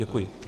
Děkuji.